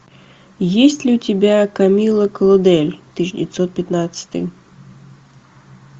есть ли у тебя камилла клодель тысяча девятьсот пятнадцатый